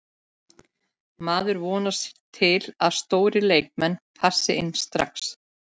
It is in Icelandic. Maður vonast til að stórir leikmenn passi inn strax.